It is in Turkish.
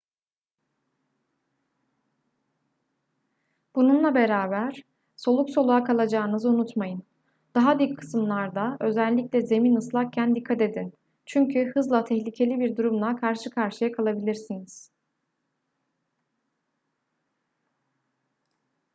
bununla beraber soluk soluğa kalacağınızı unutmayın daha dik kısımlarda özellikle zemin ıslakken dikkat edin çünkü hızla tehlikeli bir durumla karşı karşıya kalabilirsiniz